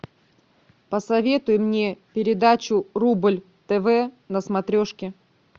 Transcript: посоветуй мне передачу рубль тв на смотрешке